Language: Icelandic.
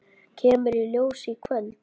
Kemur í ljós í kvöld.